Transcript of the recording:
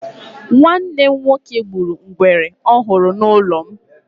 Nwanne m nwoke gburu ngwere ọ hụrụ n'ụlọ m.